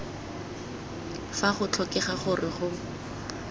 fa go tlhokega gore go